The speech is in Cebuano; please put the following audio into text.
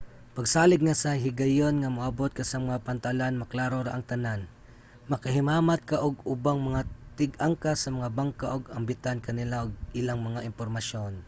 pagsalig nga sa higayon nga moabot ka sa mga pantalan maklaro ra ang tanan. makahimamat ka og ubang mga tig-angkas sa mga bangka ug ambitan ka nila og ilang mga impormasyon